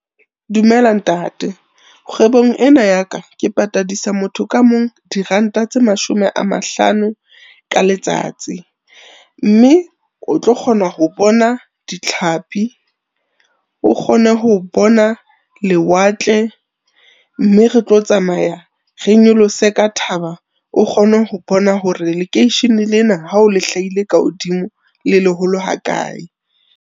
Dumela ntate. Kgwebong ena ya ka ke patadisa motho ka mong diranta tse mashome a mahlano ka letsatsi. Mme o tlo kgona ho bona ditlhapi, o kgone ho bona lewatle mme re tlo tsamaya re nyolose ka thaba, o kgone ho bona hore lekeishene lena ha o le hlahile ka hodimo le leholo ha kae.